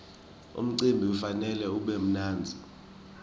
umcimbi kufanele ube mnandzi